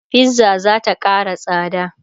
fizza zata Kara tsada